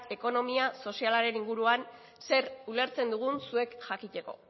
ekonomia sozialaren inguruan zer ulertzen dugun zuen jakiteko